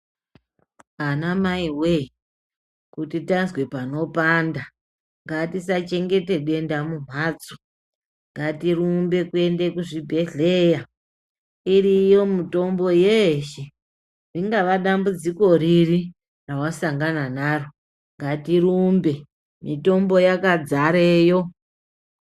Anamai wee, kuti tazwe panopanda, ngatisachengete denda mumhatso. Ngatirumbe kuende kuzvibhedhleya. Iriyo mitombo yeshe, ringava dambudziko riri rawasangana naro. Ngatirumbe, mitombo yakadzareyo.